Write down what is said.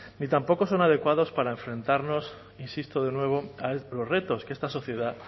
ni tampoco son adecuados para enfrentarnos insisto de nuevo a los retos que esta sociedad